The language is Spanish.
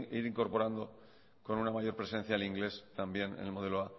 ir incorporando con una mayor presencia el inglés también en el modelo